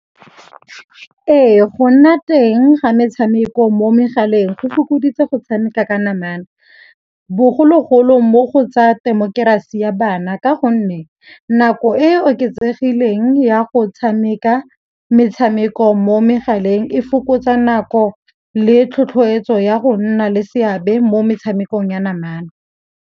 Ee, go nna teng ga metshameko mo megaleng go fokoditse go tshameka ka namana. Bogologolo mo go tsa temokerasi ya bana ka gonne nako e e oketsegileng ya go tshameka metshameko mo megaleng e fokotsa nako le tlhotlhoeletso ya go nna le seabe mo metshamekong ya namana.